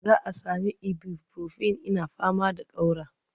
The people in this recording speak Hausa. Za a sami Ibuprofin, ina fama da ƙaura